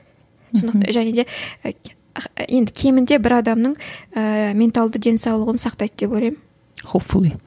және де енді кемінде бір адамның ііі менталды денсаулығын сақтайды деп ойлаймын